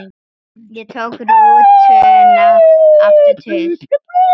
Ég tók rútuna aftur til